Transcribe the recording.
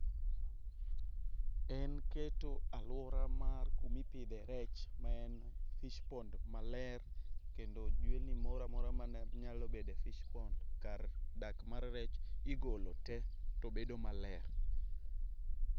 En keto aluora mar kuma ipidhe rech ma en fish pond maler. Kendo jwenlni moro amora mane nyalo bedo e fish pond kar dak mar rech igolo te tobedo maler.